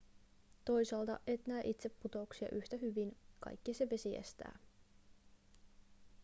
toisaalta et näe itse putouksia yhä hyvin kaikki se vesi estää